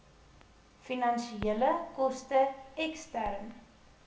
finansiële koste ekstern